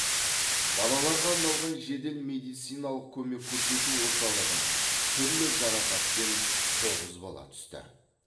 балаларға арналған жедел медициналық көмек көрсету орталығына түрлі жарақатпен тоғыз бала түсті